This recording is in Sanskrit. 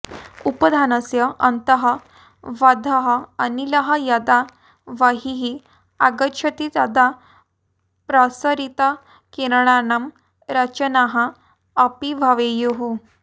उपधानस्य अन्तः बद्धः अनिलः यदा बहिः आगच्छति तदा प्रसरितकिरणानां रचनाः अपि भवेयुः